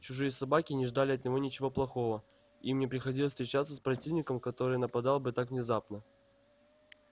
чужие собаки не ждали от него ничего плохого им не приходилось встречаться с противником который нападал бы так внезапно